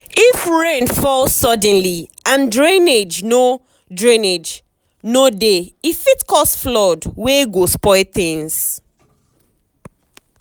if rain fall suddenly and drainage no drainage no dey e fit cause flood wey go spoil things.